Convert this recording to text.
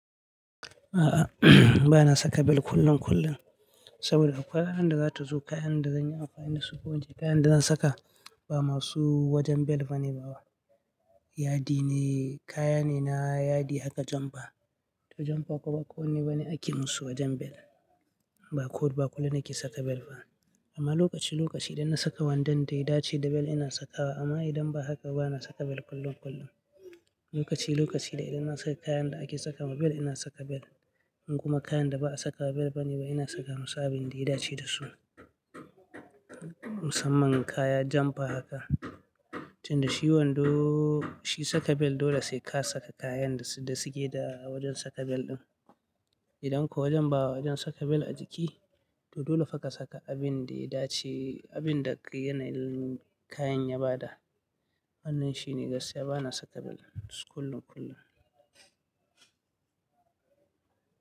A'a, bana saka bel kullum kullum, saboda akwai kayan da za ta zo, kayan da zan yi, amfani da su, ko ince, kayan da zan saka ba masu wajen bel ba ne ba. Yadi ne, kaya ne, na yadi haka janfa. To, janfa kuma ba ko wanne ba ne ake musu wajen bel. Ba kullum nake saka bel ba, amma lokaci lokaci idan na saka wandon da ya dace da bel ina saka wa, amma idan ba haka, bana saka bel kullum kullum. Lokaci lokaci da idan na saka kayan da ake saka ma bel ina saka bel. In kuma kayan da ba a saka bel ba ne ba, ina saka musu abin da ya dace da su. Musamman kaya janfa haka. Tunda shi wando, shi saka bel dole sai ka saka kayan da suke da wajen saka bel ɗin. Idan kuwa wajen ba wajen saka bel a jiki, to dole fa ka saka abin da ya dace, abin da yanayin kayan ya ba da. Wannan shine gaskiya bana saka bel kullum-kullum.